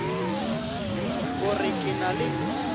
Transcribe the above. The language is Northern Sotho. o re ke na le